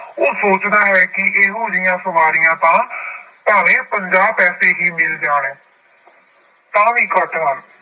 ਉਹ ਸੋਚਦਾ ਹੈ ਕਿ ਇਹੋ ਜਿਹੀਆਂ ਸਵਾਰੀਆਂ ਤਾਂ ਪੰਜਾਹ ਪੈਸੇ ਹੀ ਮਿਲ ਜਾਣ ਤਾਂ ਵੀ ਘੱਟ ਹਨ।